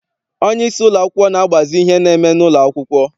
Onyeisi ụlọakwụkwọ na-agbazi ihe na-eme n'ụlọ akwụkwọ.